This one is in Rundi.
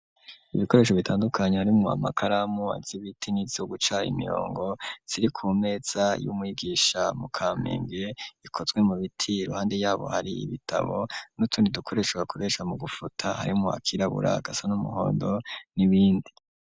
Ibikoresho bitandukanye harimwo amakaramu z'ibiti nizo guca imirongo ziri ku meza y'umwigisha mu Kamenge ikozwe mu biti iruhande yaho hari ibitabo n'utundi dukoresho bakoresha mu gufuta harimwo akirabura agasa n'umuhondo n'ibindi.